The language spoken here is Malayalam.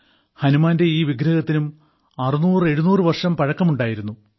ഹനുമാന്റെ ഈ വിഗ്രഹത്തിനും 600700 വർഷം പഴക്കമുണ്ടായിരുന്നു